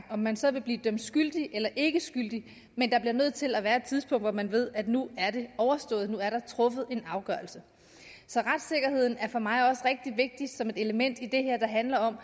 om man så vil blive dømt skyldig eller ikkeskyldig er der nødt til at være et tidspunkt hvor man ved at nu er det overstået nu er der truffet en afgørelse så retssikkerheden er for mig også rigtig vigtig som et element i det her der handler om